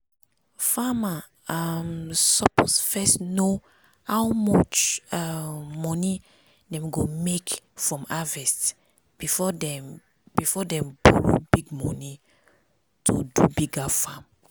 farmer um suppose first know how much um money dem go make from harvest before dem before dem borrow big money to do bigger farm.